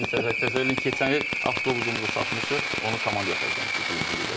Biz təsəvvür elə keçən il avtobusumuzu satmışıq, onu komandaya xərcləmişik birinci liqada.